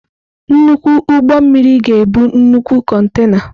Nnukwu ụgbọ mmiri ga-ebu nnukwu kontena.